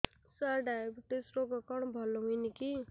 ସାର diabetes ରୋଗ କଣ ଭଲ ହୁଏନି କି